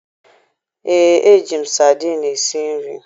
Ee, eji m sadiin esi nri